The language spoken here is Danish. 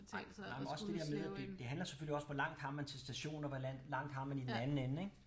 Ej nej men også det dér med at det det handler selvfølgelig også hvor langt har man til stationen og hvor langt har man i den anden ende ik